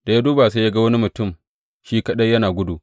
Da ya duba sai ya ga wani mutum shi kaɗai yana gudu.